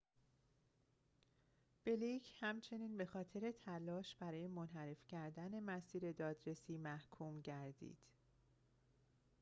بلیک همچنین بخاطر تلاش برای منحرف کردن مسیر دادرسی محکوم گردید